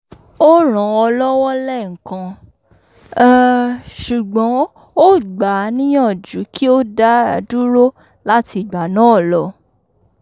o ràn án lọ́wọ́ lẹ́ẹ̀kan um ṣugbọn ó gbà á níyàjú kí ó dádúró lati ìgbà náà lọ